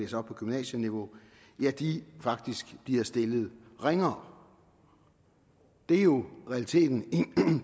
sig op på gymnasieniveau faktisk bliver stillet ringere det er jo realiteten i